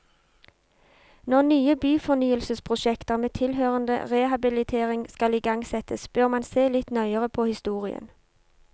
Når nye byfornyelsesprosjekter med tilhørende rehabilitering skal igangsettes, bør man se litt nøyere på historien.